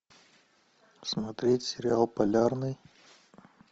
смотреть сериал полярный